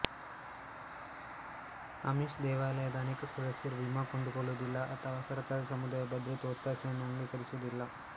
Amish ದೇವಾಲಯದ ಅನೇಕ ಸದಸ್ಯರು ವಿಮಾ ಕೊಂಡುಕೊಳ್ಳುದಿಲ್ಲ ಅಥವಾ ಸರಕಾರದ ಸಮುದಾಯ ಭದ್ರತೆ ಒತ್ತಾಸೆಯನ್ನು ಅಂಗೀಕರಿಸುವುದಿಲ್ಲ